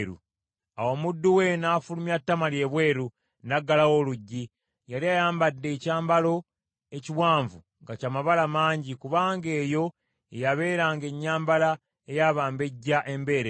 Awo omuddu we n’afulumya Tamali ebweru, n’aggalawo oluggi. Yali ayambadde ekyambalo ekiwanvu nga ky’amabala mangi, kubanga eyo ye yabeeranga ennyambala ey’abambejja embeerera.